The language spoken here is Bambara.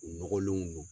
U nɔgɔlenw don